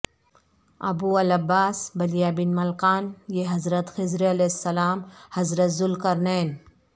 ابوالعباس بلیابن ملکان یہ حضرت خضر علیہ السلام حضرت ذوالقرنین